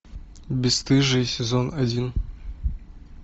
бесстыжие сезон один